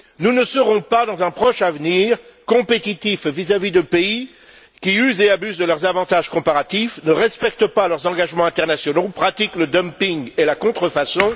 Nous ne serons pas, dans un proche avenir, compétitifs vis à vis de pays qui usent et abusent de leurs avantages comparatifs, ne respectent pas leurs engagements internationaux ou pratiquent le dumping et la contrefaçon.